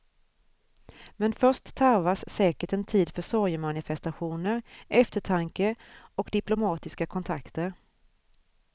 Men först tarvas säkert en tid för sorgemanifestationer, eftertanke och diplomatiska kontakter.